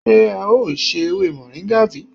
Sé e o ṣe ewé moringa bi?